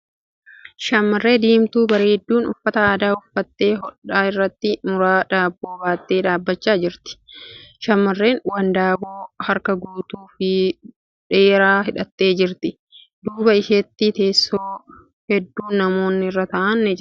Shamarree diimtuu bareedduun uffata addaa uffatte hodhaa irratti muraa daabboo baattee dhaabbachaa jirti . Shamarreen wandaboo harka guutuu fi dheeraa hidhattee jirti. Duuba isheetti teessoo hedduun namoonni irra taa'a ni jira.